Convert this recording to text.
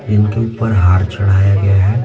जिनके ऊपर हार चढ़ाया गया हैं।